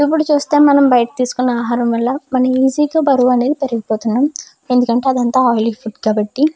ఇప్పుడు చూస్తే మనం బయట తీసుకున్న ఆహారం వల్ల ఈజీగా బరువు అనేది పెరిగిపోతుంది. ఎందుకంటే అదంతా ఆయిల్ ఫుడ్ కాబట్టి.